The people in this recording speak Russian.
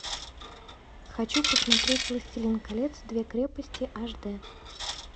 хочу посмотреть властелин колец две крепости аш д